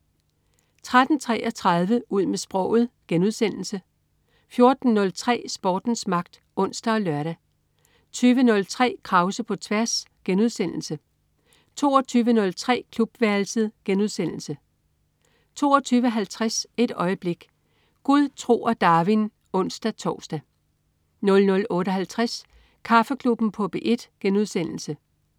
13.33 Ud med sproget* 14.03 Sportens magt (ons og lør) 20.03 Krause på tværs* 22.03 Klubværelset* 22.50 Et øjeblik. Gud, tro og Darwin (ons-tors) 00.58 Kaffeklubben på P1*